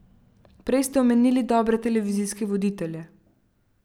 Prej ste omenili dobre televizijske voditelje.